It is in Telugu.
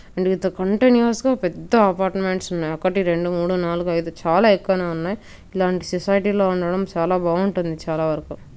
అండ్ అయితే కంటిన్యూఅస్ గ పెద్ద ఎపార్ట్మెంట్స్ ఉన్నాయి ఒకటి రెండు మూడు నాలుగు ఐదు చాలా ఎక్కువనే ఉన్నాయి ఇలాంటి సొసైటీ లో ఉండటం చాల బాగుంటుంది చాలావరకు.